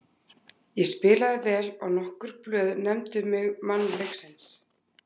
Ég spilaði vel og nokkur blöð nefndu mig mann leiksins.